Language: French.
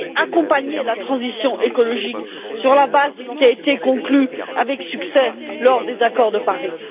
accompagner la transition écologique sur la base de ce qui a été conclu avec succès lors des accords de Paris.